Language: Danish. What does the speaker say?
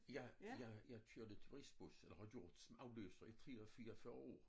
Jeg jeg jeg kørte turistbus og har gjort som afløser i 3 og 44 år